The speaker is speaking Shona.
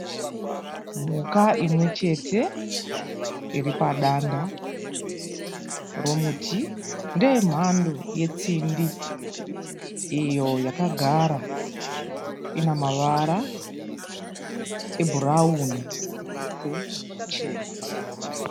Mhuka imwechete iripadanda remuti. Ndeyemhando yetsindi. Iyo yakagara, inemavara ebhurawuni muviri wese nezvichena.